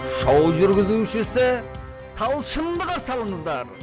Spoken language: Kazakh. шоу жүргізушісі талшынды қарсы алыңыздар